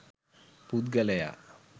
පුද්ගලයා